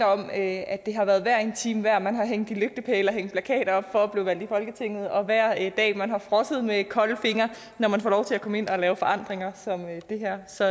om at at det har været hver en time værd man har hængt i lygtepæle og hængt plakater op for at blive valgt ind i folketinget og hver dag man har frosset med kolde fingre når man får lov til at komme ind og lave forandringer som det her så